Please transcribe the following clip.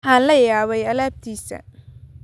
Waxaan la yaabay alaabtiisa